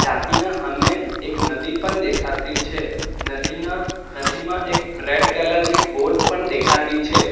ટાંકીના હામે એક નદી પન દેખાતી છે નદીના નદીમાં એક રેડ કલર લી બોટ પન દેખાતી છે.